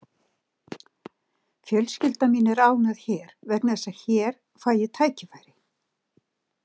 Fjölskylda mín er ánægð hér vegna þess að hér fæ ég tækifæri.